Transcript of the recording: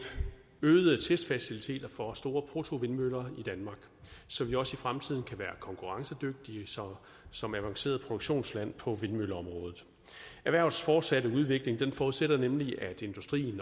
øgede testfaciliteter for store prototypevindmøller i danmark så vi også i fremtiden kan være konkurrencedygtige som som et avanceret produktionsland på vindmølleområdet erhvervets fortsatte udvikling forudsætter nemlig at industrien